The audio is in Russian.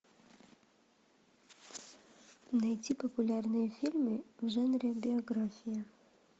найти популярные фильмы в жанре биография